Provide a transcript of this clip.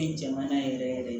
jamana yɛrɛ yɛrɛ